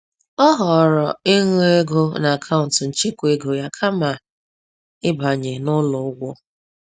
Ọ họọrọ ịṅụọ ego n’akaụntụ nchekwa ego ya kama ibanye n’ụlọ ụgwọ.